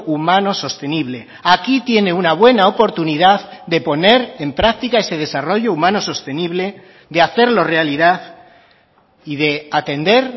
humano sostenible aquí tiene una buena oportunidad de poner en práctica ese desarrollo humanos sostenible de hacerlo realidad y de atender